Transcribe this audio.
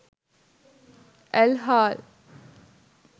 ඇල් හාල්